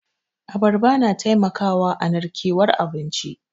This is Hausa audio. Abarba na taimakawa a narkewan abinci.